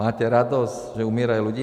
Máte radost, že umírají ľudia?